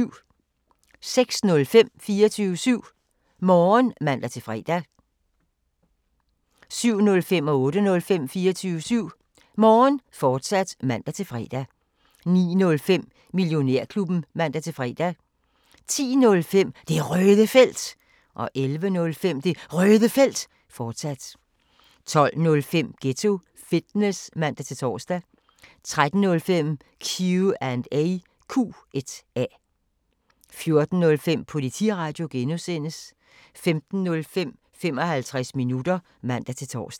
06:05: 24syv Morgen (man-fre) 07:05: 24syv Morgen, fortsat (man-fre) 08:05: 24syv Morgen, fortsat (man-fre) 09:05: Millionærklubben (man-fre) 10:05: Det Røde Felt 11:05: Det Røde Felt, fortsat 12:05: Ghetto Fitness (man-tor) 13:05: Q&A 14:05: Politiradio (G) 15:05: 55 minutter (man-tor)